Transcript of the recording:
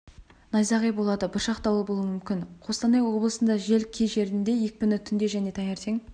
найзағай болады бұршақ дауыл болуы мүмкін қостанай облысында жел кей жерінде екпіні түнде және таңертең